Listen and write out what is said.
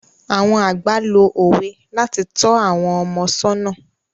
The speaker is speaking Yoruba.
Àwọn àgbà lo òwe láti tọ́ àwọn ọmọ sọ́nà.